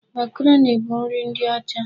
Makaroni bụ nri ndị ọcha.